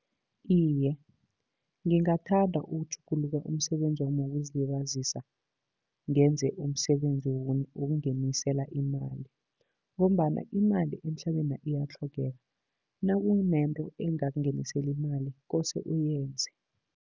Iye, ngingathanda ukutjhuguluka umsebenzi wami wokuzilibazisa, ngenze umsebenzi wokungenisela imali, ngombana imali emhlabena iyatlhogeka, nakunento engakungenisela imali kose uyenze.